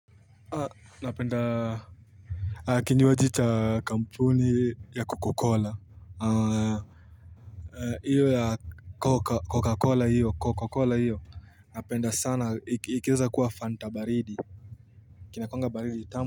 Napenda Kinywaji cha kampuni ya Coca Cola Iyo ya coca Coca Cola hiyo Napenda sana iki ikieza kuwa fanta baridi Kinakuanga baridi tamu.